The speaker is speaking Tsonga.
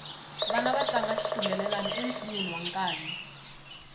vana va tlanga xitumbelelani ensinyeni wa nkanyi